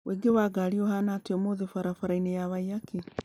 ũingĩ wa ngari ũhaana atĩa ũmũthĩbara bara-inĩ ya waiyaki